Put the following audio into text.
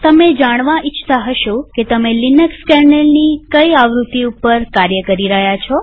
તમે જાણવા ઇચ્છતા હશો કે તમે લિનક્સ કેર્નેલની કઈ આવૃત્તિ ઉપર કાર્ય કરી રહ્યા છો